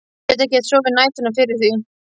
Ég get ekkert sofið á næturnar fyrir því!